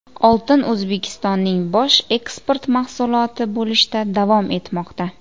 Oltin O‘zbekistonning bosh eksport mahsuloti bo‘lishda davom etmoqda.